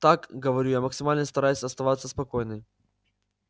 так говорю я максимально стараясь оставаться спокойной